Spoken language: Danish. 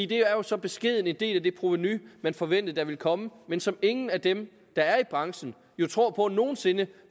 det er jo så beskeden en del af det provenu man forventede at der ville komme men som ingen af dem der er i branchen tror på nogen sinde